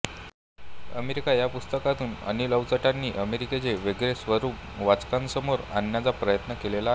America या पुस्तकातून अनिल अवचटांनी अमेरिकेचे वेगळे स्वरूप वाचकांसमोर आणण्याचा प्रयत्न केलेला आहे